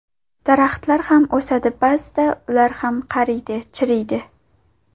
Daraxtlar ham o‘sadi, ba’zida ular ham qariydi, chiriydi.